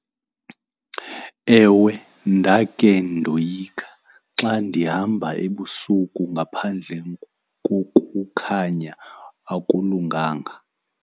Ewe, ndake ndoyika xa ndihamba ebusuku ngaphandle kokukhanya, akulunganga.